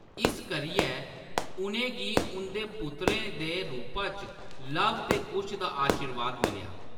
इस करियै, उʼनें गी उंʼदे पुत्तरें दे रूपा च लव ते कुश दा आशीर्वाद मिलेआ।